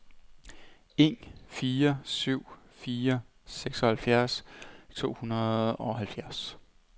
en fire syv fire seksoghalvfjerds to hundrede og halvfjerds